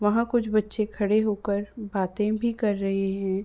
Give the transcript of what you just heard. वहां कुछ बच्चे खड़े होकर बातें भी कर रहें हैं।